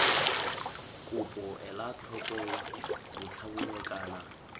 kopo ela tlhoko botlhabongwe kana